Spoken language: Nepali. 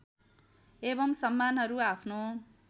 एवं सम्मानहरू आफ्नो